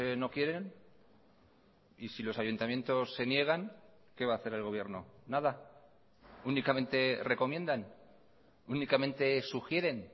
no quieren y si los ayuntamientos se niegan qué va a hacer el gobierno nada únicamente recomiendan únicamente sugieren